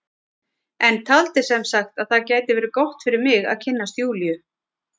En taldi sem sagt að það gæti verið gott fyrir mig að kynnast Júlíu.